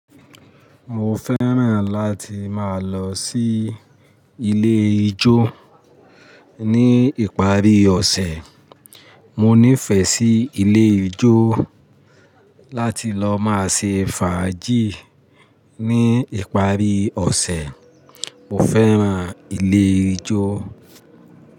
Mo fẹ́ràn láti máa lọ sí ilé ijó ní ìparí ọ̀sẹ̀. Mo nífẹ̀ẹ́ sí ilé ijó láti lọ máa ṣe fàájì ní ìparí ọ̀sẹ̀. Mo fẹ́ràn ilé ijó.